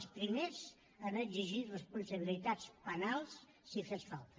els primers en exigir responsabilitats penals si fes falta